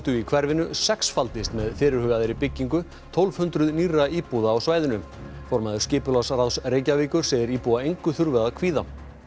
í hverfinu sexfaldist með fyrirhugaðri byggingu tólf hundruð nýrra íbúða á svæðinu formaður skipulagsráðs Reykjavíkur segir íbúa engu þurfa að kvíða